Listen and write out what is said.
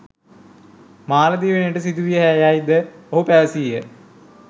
මාලදිවයිනට සිදුවී යැයිද ඔහු පැවසීය